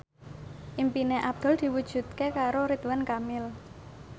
impine Abdul diwujudke karo Ridwan Kamil